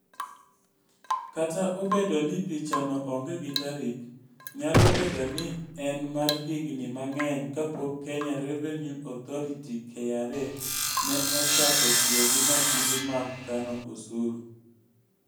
Kata obedo ni pichano onge gi tarik, nyalo bedo ni ne en mar higni mang'eny kapok Kenya Revenue Authority (KRA) ne ochako tiyo gi masinde mag kano osuru.